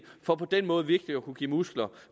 for på den måde virkelig at kunne give muskler